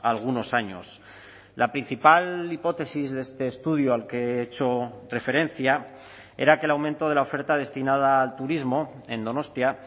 algunos años la principal hipótesis de este estudio al que he hecho referencia era que el aumento de la oferta destinada al turismo en donostia